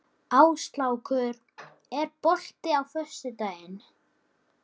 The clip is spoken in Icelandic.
Áslákur, er bolti á föstudaginn?